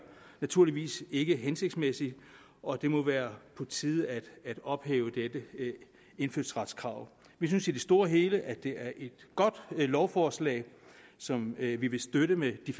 naturligvis ikke hensigtsmæssig og det må være på tide at ophæve dette indfødsretskrav vi synes i det store hele at det er et godt lovforslag som vi vi vil støtte med de